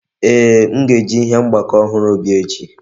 Ee, m ga-eji ihe mgbakọ ọhụrụ bịa echi